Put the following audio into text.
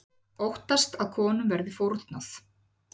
Óttast að konum verði fórnað